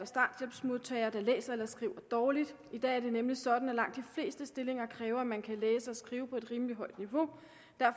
starthjælpsmodtagere der læser eller skriver dårligt i dag er det nemlig sådan at langt de fleste stillinger kræver at man kan læse og skrive på et rimelig højt niveau